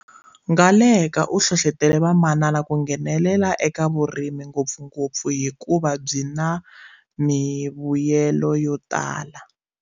Ngaleka u hlohlotele vamanana ku nghenelela eka vuri- mi ngopfungopfu hikuva byi na mivuyelo yotala.